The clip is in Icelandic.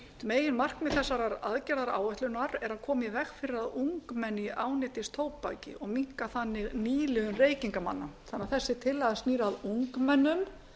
meginmarkmið þessarar aðgerðaráætlunar er að koma í veg ári að ungmenni ánetjist tóbaki og minnka gang nýliðun reykingamanna þannig að þessi tillaga snýr að ungmennum